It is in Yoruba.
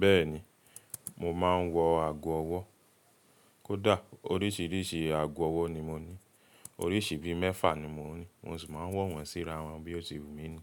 Bẹ́ẹ̀ni, mo máa ń wọ ago ọwọ́. Kódà oríṣiríṣi ago ọwọ́ ni mo ní. Oríṣi bíi mẹ́fà ni mo ní. Mo sì máa ń wo wọ̀n síra wọn bí ó ṣe wù mí ni.